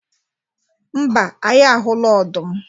mba, anyị ahụla ọdụm